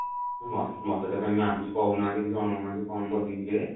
ମୋତେ ମୋତେ ତ କାଇଁ ma'am କିଛି କହୁନାହାନ୍ତି କି ଜଣଉନାହାନ୍ତି କଣ ବନେଇବି ଯେ